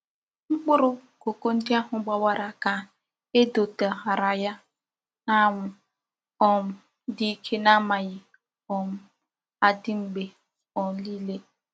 Mkpuru koko ndi ahu gbawara ka e dotexhara ya n'anwu um di Ike n'amaghi um adi mgbe um nile.